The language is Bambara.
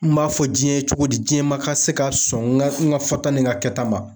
N b'a fɔ jiɲɛ ye cogo di jiɲɛ ma ka se ka sɔn n ka n ka fɔta ni n ka kɛta ma